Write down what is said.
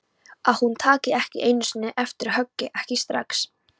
Að hún taki ekki einu sinni eftir höggi, ekki strax.